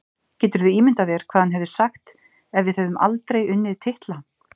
Geturðu ímyndað þér hvað hann hefði sagt ef við hefðum aldrei unnið titla?